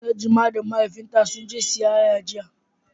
Najma da Mahaifinta sun je siyayya jiya.